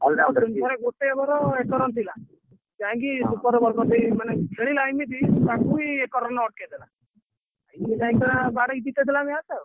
all-rounder ସିଏ ମାନେ ଗୋଟେ over ଏକ run ଥିଲା ଯାଇକି ହଁ super over କରିଦେଇ ମାନେ ଖେଳିଲା ଏମିତି ତାଙ୍କୁ ହିଁ ଏକ run ରେ ଅଟକେଇଦେଲା ତାପରେ ଭେଙ୍କ ବାଡ଼େଇ ଜିତେଇଦେଲା match ଆଉ।